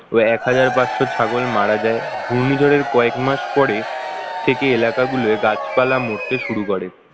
ও এক হাজার পাঁচশো ছাগল মারা যায় ঘূর্ণিঝড়ের কয়েক মাস পরে থেকে এলাকাগুলো গাছপালা মরতে শুরু করে